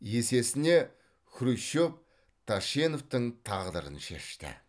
есесіне хрущев тәшеневтің тағдырын шешті